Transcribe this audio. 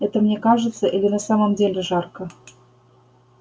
это мне кажется или на самом деле жарко